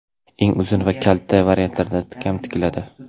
engi uzun va kalta variantlarda ham tikiladi.